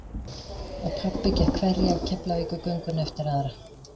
Og pabbi gekk hverja Keflavíkurgönguna eftir aðra.